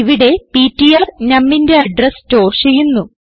ഇവിടെ പിടിആർ numന്റെ address store ചെയ്യുന്നു